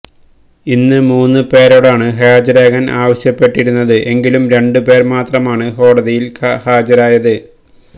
ഇന്ന് മൂന്ന് പേരോടാണ് ഹാജരാകാന് ആവശ്യപ്പെട്ടിരുന്നത് എങ്കിലും രണ്ട് പേര് മാത്രമാണ് കോടതിയില് ഹാജരായത്